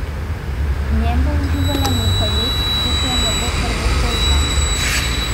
V njem bo uživala nekaj let, dokler ne bo prvošolka.